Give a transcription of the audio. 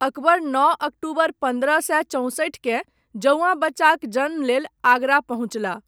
अकबर, नओ अक्टूबर पन्द्रह सए चौसठिकेँ, जौआँ बच्चाक जन्म लेल, आगरा पहुञ्चलाह।